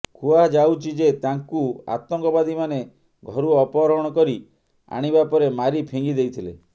କୁହାଯାଉଛି ଯେ ତାଙ୍କୁ ଆତଙ୍କବାଦୀମାନେ ଘରୁ ଅପହରଣ କରି ଆଣିବା ପରେ ମାରି ଫିଙ୍ଗି ଦେଇଥିଲେ